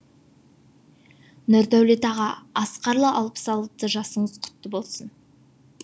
нұрдәулет аға асқарлы алпыс алты жасыңыз құтты болсын